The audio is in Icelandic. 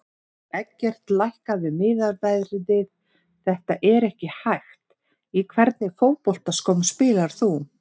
Eggert lækkaðu miðaverðið þetta er ekki hægt Í hvernig fótboltaskóm spilar þú?